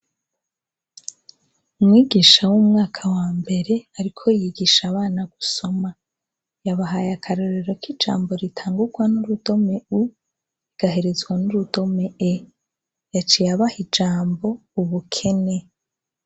Umwigisha w' umwaka wambere ariko yigisha abana gusoma yabahaye akarorero k'ijambo ritangugwa n' urudome U rigaherezwa n' urudome E yaciye abaha ijambo ubukene.